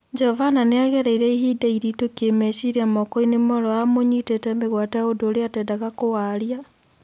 Jovana nĩagereire ihinda iritũ kĩmeciria mokoinĩ moorĩa wa mũnyitĩte mateka ũndũ ũrĩa atendete kũwaria.